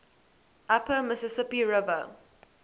upper mississippi river